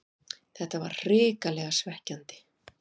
Þetta var hrikalega svekkjandi